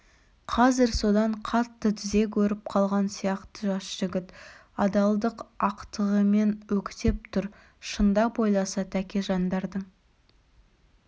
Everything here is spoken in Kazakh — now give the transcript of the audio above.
қазір содан қатты тізе көріп қалған сияқты жас жігіт адалдық ақтығымен өктеп тұр шындап ойласа тәкежандардың